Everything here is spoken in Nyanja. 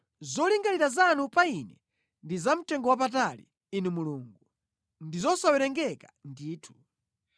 Zolingalira zanu pa ine ndi zamtengowapatali, Inu Mulungu, ndi zosawerengeka ndithu!